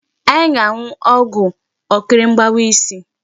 Anyị ga-aṅụọgwụ ọkịrị mgbawa isi.